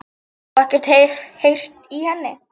Og ekkert heyrt í henni?